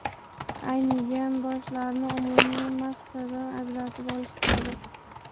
Aynigan boshlarni umumiy massadan ajratib olish zarur.